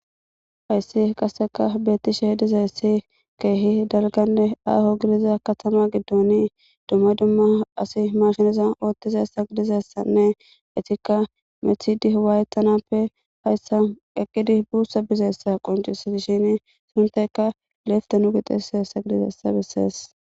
Hayssi qasseka beettisheh dizaessi keehi dalganne aaho gidiza katama giddoni dumma dumma asi mashinizan oottizassa gidizessanne etikka methidi waayetanappe hayssa eqqidi buussa bizeessa qoncusetishin sintayka leefte nu gixisheessa gidizeessa bisees.